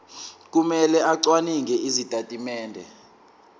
kumele acwaninge izitatimende